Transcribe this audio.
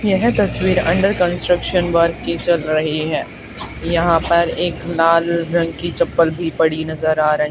यह तस्वीर under construction work की चल रही है यहां पर एक लाल रंग की चप्पल भी पड़ी नजर आ र--